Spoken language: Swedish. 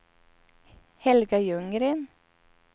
Helga Ljunggren